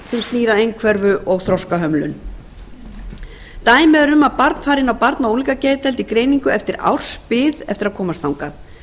að einhverfu og þroskahömlun dæmi eru m að barn fari inn á barna og unglingageðdeild í greiningu eftir ársbið eftir að komast þangað